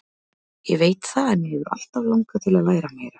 Ég veit það en mig hefur alltaf langað til að læra meira.